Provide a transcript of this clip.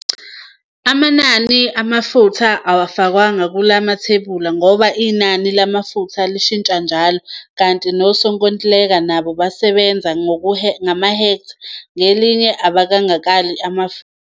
Amanani amafutha awafakwanga kula mathebula ngoba inani lamafutha lishintsha njalo kanti nosonkontileka nabo basebenza ngehektha ngalinye ungekabali amafutha.